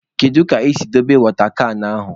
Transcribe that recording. Kedu ka i si dobe wọta kan ahụ?